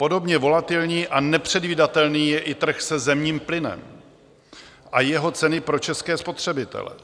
Podobně volatilní a nepředvídatelný je i trh se zemním plynem a jeho ceny pro české spotřebitele.